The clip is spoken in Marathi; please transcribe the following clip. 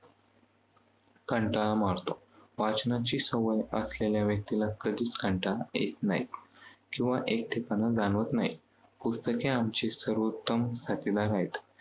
कंटाळा मरतो. वाचनाची सवय असलेल्या व्यक्तीला कधी कंटाळा येत नाही. किंवा एकटेपणा जाणवत नाही. पुस्तके आमची सर्वोत्तम साथीदार आहेत.